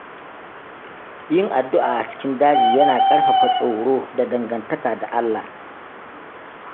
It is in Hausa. Yin addu’a a cikin daji yana ƙarfafa tsoro da dangantaka da Allah.